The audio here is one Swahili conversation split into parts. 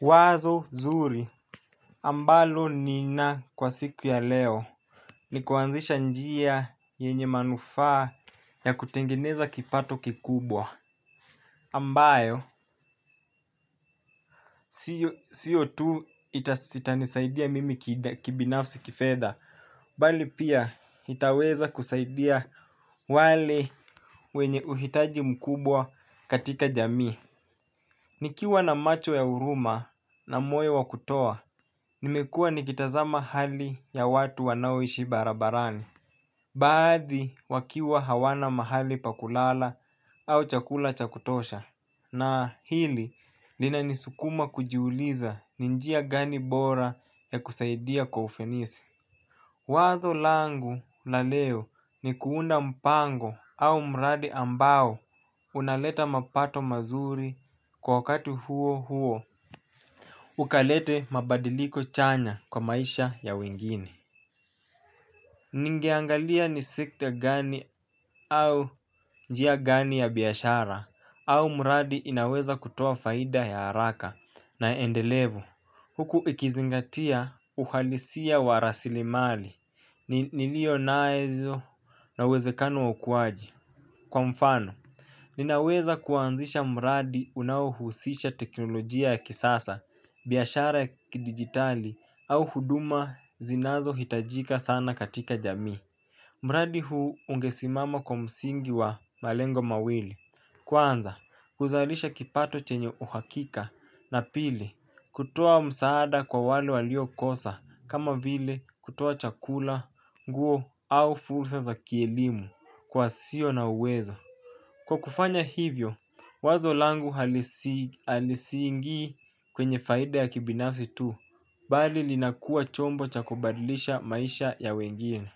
Wazo nzuri. Ambalo nina kwa siku ya leo. Nikuanzisha njia yenye manufaa ya kutengeneza kipato kikubwa. Ambayo, siyo tu itanisaidia mimi kibinafsi kifedha. Bali pia itaweza kusaidia wale wenye uhitaji mkubwa katika jamii. Nikiwa na macho ya huruma na moyo wa kutoa, nimekua nikitaza hali ya watu wanaoishi barabarani. Baadhi wakiwa hawana mahali pa kulala au chakula chakutosha. Na hili lina nisukuma kujiuliza ni njia gani bora ya kusaidia kwa ufanisi. Wazo langu la leo ni kuunda mpango au mradi ambao. Unaleta mapato mazuri kwa wakati huo huo ukalete mabadiliko chanya kwa maisha ya wengine. Ningeangalia ni sikte gani au njia gani ya biashara au mradi inaweza kutoa faida ya haraka na endelevu huku ikizingatia uhalisia wa rasilimali nilio nazo na uwezekano wa ukuwaji. Kwa mfano ninaweza kuanzisha mradi unaohusisha teknolojia ya kisasa, biashara ya kidigitali au huduma zinazo hitajika sana katika jamii. Mradi huu ungesimama kwa msingi wa malengo mawili. Kwanza, huzalisha kipato chenye uhakika na pili, kutoa msaada kwa wale walio kosa kama vile kutoa chakula, nguo au fursa za kielimu kwa wasio na uwezo. Kwa kufanya hivyo, wazo langu halisiingi kwenye faida ya kibinafsi tu, bali linakua chombo chakobadilisha maisha ya wengine.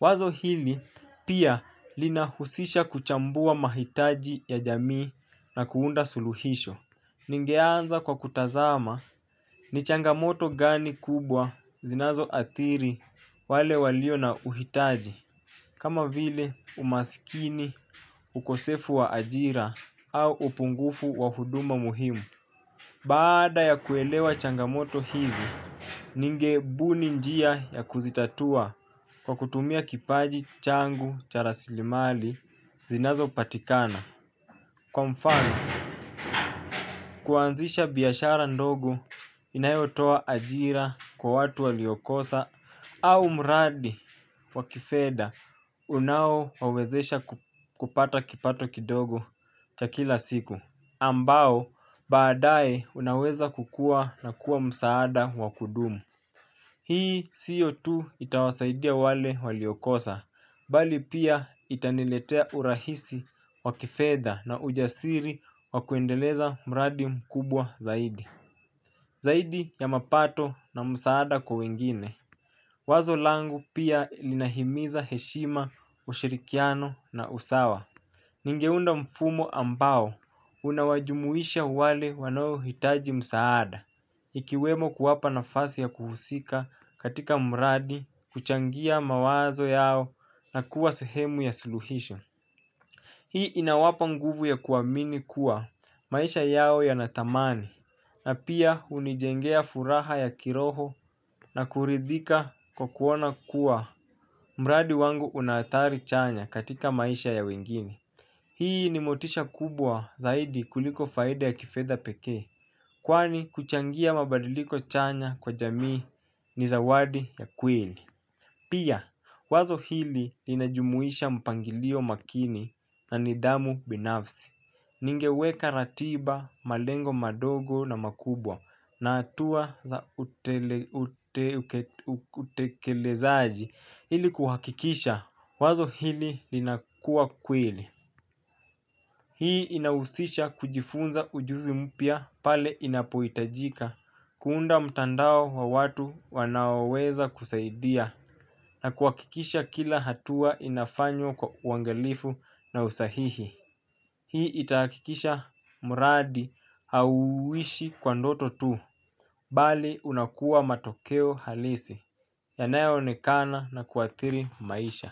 Wazo hili pia linahusisha kuchambua mahitaji ya jamii na kuunda suluhisho. Ningeanza kwa kutazama ni changamoto gani kubwa zinazo adhiri wale walio na uhitaji. Kama vile umasikini ukosefu wa ajira au upungufu wa huduma muhimu. Baada ya kuelewa changamoto hizi, ningebuni njia ya kuzitatua kwa kutumia kipaji changu cha rasilimali zinazo patikana. Kwa mfani, kuanzisha biashara ndogo inayotoa ajira kwa watu waliokosa au muradi wakifedha unao wawezesha kupata kipato kidogo cha kila siku. Ambao, baadae unaweza kukua na kuwa msaada wakudumu. Hii sio tu itawasaidia wale waliokosa, bali pia itaniletea urahisi wakifedha na ujasiri wakuendeleza mradi mkubwa zaidi. Zaidi ya mapato na msaada kwa wengine. Wazo langu pia linahimiza heshima ushirikiano na usawa. Ningeunda mfumo ambao, unawajumuisha wale wanawo hitaji msaada. Ikiwemo kuwapa nafasi ya kuhusika katika mbradi kuchangia mawazo yao na kuwa sehemu ya siluhisho. Hii inawapa nguvu ya kuamini kuwa maisha yao yanatamani. Na pia hunijengea furaha ya kiroho na kuridhika kwa kuona kuwa mbradi wangu unaadhari chanya katika maisha ya wengine. Hii ni motisha kubwa zaidi kuliko faida ya kifedha peke. Kwani kuchangia mabadiliko chanya kwa jamii ni zawadi ya kweli. Pia wazo hili linajumuisha mpangilio makini na nidamu binafsi. Ningeweka ratiba malengo madogo na makubwa na hatua za utekelezaji ili kuhakikisha wazo hili lina kuwa kweli. Hii inahusisha kujifunza ujuzi mpya pale inapohitajika kuunda mtandao wa watu wanaoweza kusaidia na kuhakikisha kila hatua inafanywa kwa uangalifu na usahihi hii itahakikisha mradi hauishi kwa ndoto tuu. Bali unakuwa matokeo halisi. Yanayo onekana na kuadhiri maisha.